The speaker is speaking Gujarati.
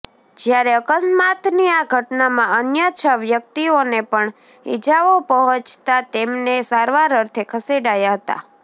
જયારે અકસ્માતની આ ઘટનામાં અન્ય છ વ્યકિતઓને પણ ઇજાઓ પહોંચતા તેમને સારવાર અર્થે ખસેડાયા હતા